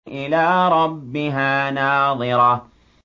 إِلَىٰ رَبِّهَا نَاظِرَةٌ